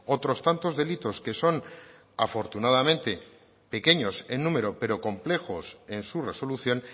otros tantos delitos que son afortunadamente pequeños en número pero complejos en su resolución